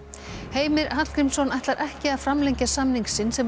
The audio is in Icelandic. Heimir Hallgrímsson ætlar ekki að framlengja samning sinn sem